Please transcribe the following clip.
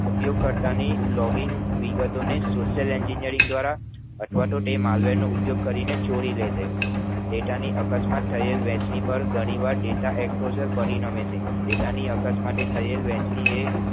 ઉપયોગ કરતા ની login વિગતો ને social Engineering દ્વારા અથવા તો તે marvel નો ઉપયોગ કરીને ચોરી લે છે data ની અકસ્માત થયેલ વહેંચણી પર ઘણી વાર data explossar ફરી નામે છે data ની અકસ્માત થયેલ વહેંચણી એ